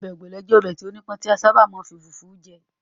Ọbẹ̀ Ogbono jẹ́ ọbẹ̀ tí ó nípọn tí a sábà máa ń fi fufu je.